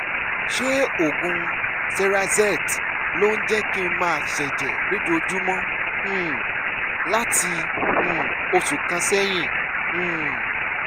ṣé oògùn cerazette ló ń jẹ́ kí n máa ṣẹ̀jẹ̀ lójoojúmọ́ um láti um oṣù kan sẹ́yìn? um